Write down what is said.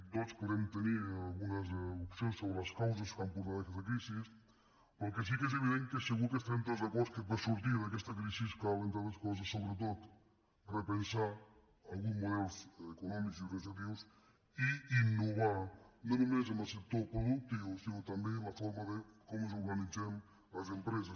tots podem tenir algunes opcions sobre les causes que han portat a aquesta crisi però el que sí que és evident i segur que hi estarem tots d’acord és que per sortir d’aquesta crisi cal entre altres coses sobretot repensar alguns models econòmics i organitzatius i innovar no només en el sector productiu sinó també en la forma com ens organitzem les empreses